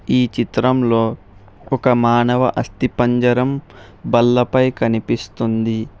ఈ చిత్రంలో ఒక మానవ అస్తిపంజరం బల్లపై కనిపిస్తుంది.